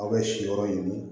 Aw bɛ si yɔrɔ ɲini